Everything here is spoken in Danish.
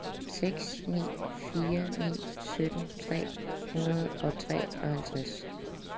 seks ni fire ni sytten tre hundrede og treoghalvtreds